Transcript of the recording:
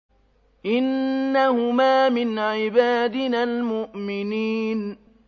إِنَّهُمَا مِنْ عِبَادِنَا الْمُؤْمِنِينَ